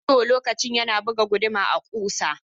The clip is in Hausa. He hurt his hand while using the Hammer to hit a nail.